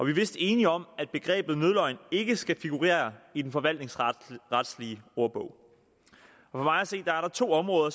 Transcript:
er vist enige om at begrebet nødløgn ikke skal figurere i den forvaltningsretlige ordbog for mig at se er der to områder